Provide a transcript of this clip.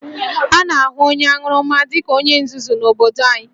A na-ahụ onye aṅụrụma dị ka onye nzuzu n'obodo anyị